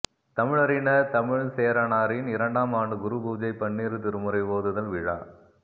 தமிழறிஞா் தமிழ்ச்சேரனாரின் இரண்டாம் ஆண்டு குரு பூஜை பன்னிரு திருமுறை ஓதுதல் விழா